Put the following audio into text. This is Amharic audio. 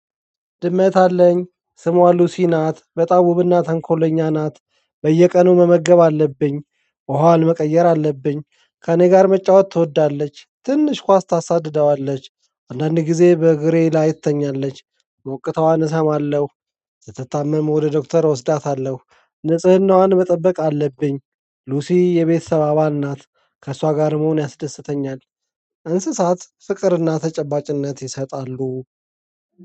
ድመት አለኝ ስሟ ሉሲ ናት በጣም ውብና ተንኮለኛ ናት። በየቀኑ መመገብ አለብኝ ውሃዋን መቀየር አለብኝ። ከእኔ ጋር መጫወት ትወዳለች። ትንሽ ኳስ ታሳድደዋለች። አንዳንድ ጊዜ በእግሬ ላይ ትተኛለች። ሞቅታዋን እሰማለሁ። ስትታመም ወደ ዶክተር እወስዳታለሁ። ንጽህናዋን መጠበቅ አለብኝ። ሉሲ የቤተሰብ አባል ናት። ከእሷ ጋር መሆን ያስደስተኛል። እንስሳት ፍቅርና ተጨባጭነት ይሰጣሉ።